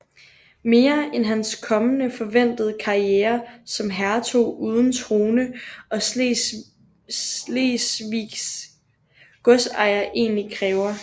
Mere end hans kommende forventede karriere som hertug uden trone og slesvigsk godsejer egentlig kræver